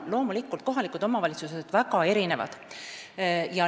Loomulikult on kohalikud omavalitsused väga erinevad.